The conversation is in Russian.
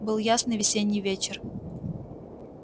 был ясный весенний вечер